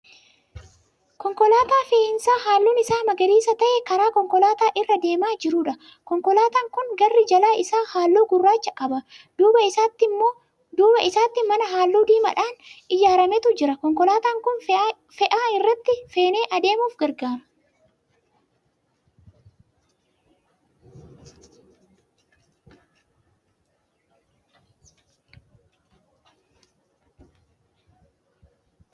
Konkolaataa fe'iisaa halluun Isaa magariisa ta'e karaa konkolaataa irra deemaa jiruudha. Konkolaataan kun garri jala isaa halluu gurraacha qaba. Duuba isaatti mana halluu diimadhaan ijaarametu jira. Konkolaataan Kun fe'aa irraatti fenee adeemuuf gargaara.